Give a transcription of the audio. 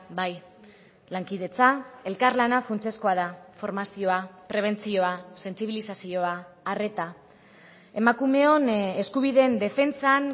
bai lankidetza elkarlana funtsezkoa da formazioa prebentzioa sentsibilizazioa arreta emakumeon eskubideen defentsan